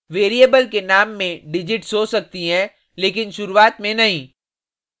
variable के name में digits हो सकती हैं लेकिन शुरुआत में नहीं